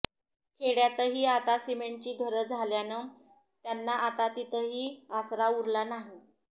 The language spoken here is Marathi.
खेड्यातही आता सिमेंटची घरं झाल्यानं त्यांना आता तिथंही आसरा उरला नाही